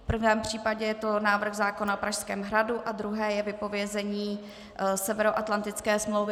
V prvém případě je to návrh zákona o Pražském hradu a druhé je vypovězení Severoatlantické smlouvy.